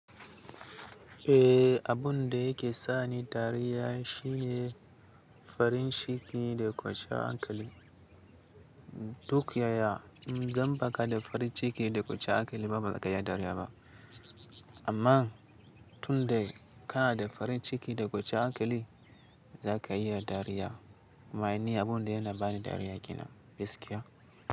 Eh, abun da yake sa ni dariya shine farin ciki da ƙwanciya hankali. Duk yaya in dan baka da farin ciki da ƙwaciya hankali ba ba za ka iya dariya ba. Amma tun dai kana da farin ciki da ƙwaciya hankali za ka iya dariya. Ama ni abun da yana bani dariya ke na gaskiya.